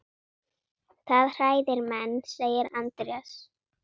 Það hræðir menn, segir Andrés.